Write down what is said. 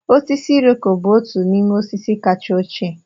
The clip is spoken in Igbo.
Osisi Iroko bụ otu n'ime osisi kacha ochie.